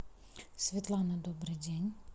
светлана добрый день